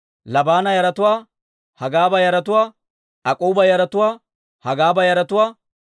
Giddeela yaratuwaa, Gahaara yaratuwaa, Ra'aaya yaratuwaa,